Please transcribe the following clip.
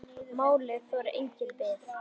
Málið þolir enga bið.